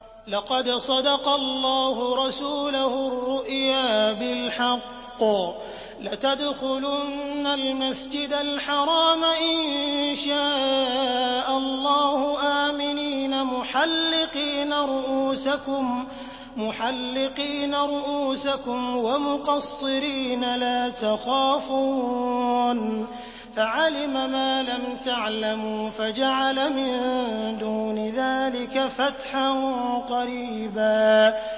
لَّقَدْ صَدَقَ اللَّهُ رَسُولَهُ الرُّؤْيَا بِالْحَقِّ ۖ لَتَدْخُلُنَّ الْمَسْجِدَ الْحَرَامَ إِن شَاءَ اللَّهُ آمِنِينَ مُحَلِّقِينَ رُءُوسَكُمْ وَمُقَصِّرِينَ لَا تَخَافُونَ ۖ فَعَلِمَ مَا لَمْ تَعْلَمُوا فَجَعَلَ مِن دُونِ ذَٰلِكَ فَتْحًا قَرِيبًا